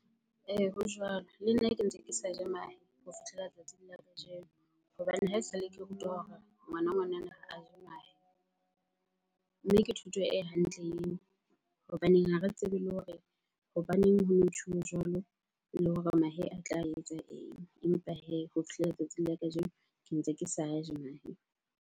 Ee, ho jwalo. Le nna ke ntse ke sa je mahe ho fihlela tsatsing la kajeno hobane hae esale ke rutwa hore ngwana ngwanana ha a je mahe. Mme ke thuto e hantle eo hobaneng ha re tsebe le hore hobaneng ha jwalo? Le hore mahe a tla etsa eng? Empa hee ho fihlela letsatsing la kajeno ke ntse ke sa a je mahe.